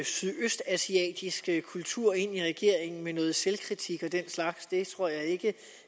sydøstasiatisk kultur ind i regeringen med noget selvkritik og den slags det tror jeg ikke